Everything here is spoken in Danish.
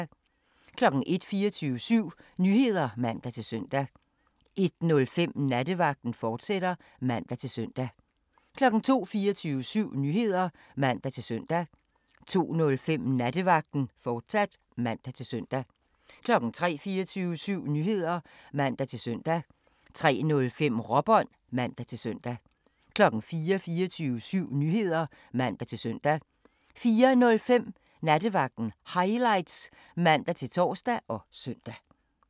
01:00: 24syv Nyheder (man-søn) 01:05: Nattevagten, fortsat (man-søn) 02:00: 24syv Nyheder (man-søn) 02:05: Nattevagten, fortsat (man-søn) 03:00: 24syv Nyheder (man-søn) 03:05: Råbånd (man-søn) 04:00: 24syv Nyheder (man-søn) 04:05: Nattevagten Highlights (man-tor og søn)